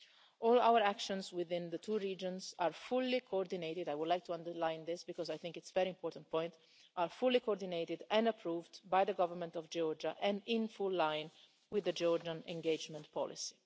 All our actions within the two regions are fully coordinated I would like to underline this, because I think it's a very important point are fully coordinated and approved by the government of Georgia and in full line with the Georgian engagement policy.